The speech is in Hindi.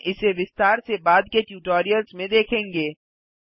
हम इसे विस्तार से बाद के ट्यूटोरियल्स में देखेंगे